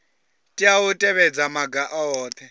tea u tevhedza maga ohe